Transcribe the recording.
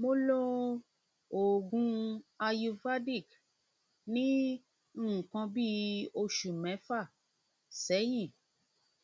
mo lo oògùn ayurvedic ní nǹkan bí oṣù mẹfà sẹyìn